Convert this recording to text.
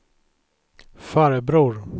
farbror